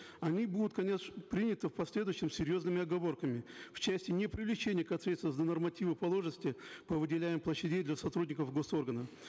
они будут конечно приняты в последующем с серьезными оговорками в части непривлечения к ответственности за нормативы положенности по выделяемым для сотрудников гос органов